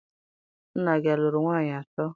Nna gị alụrụ nwaanyị atọ?